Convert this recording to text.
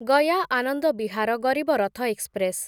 Gaya Anand Vihar Garib Rath express